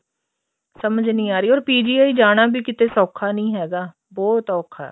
ਸਮਝ ਨਹੀਂ ਆ ਰਹੀ or PGI ਜਾਣਾ ਵੀ ਕਿਤੇ ਸੋਖਾ ਨੀ ਹੈਗਾ ਬਹੁਤ ਔਖਾ